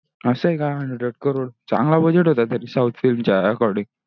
असा हे का hundred crore चांगला budget होता तर south film चा according